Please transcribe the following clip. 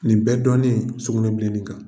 Nin bɛɛ dɔɔne sugunɛ bilenni kan.